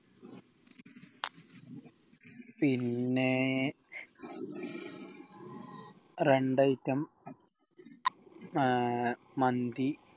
പിന്നെ രണ്ട് item ആഹ് മന്തി